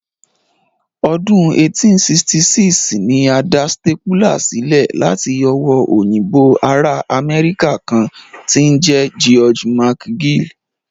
Ọdún 1866 ni a dá stapler sílẹ̀ láti owó òyìnbó ará Amẹ́ríkà kan tí ń jẹ́ George McGill